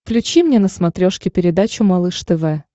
включи мне на смотрешке передачу малыш тв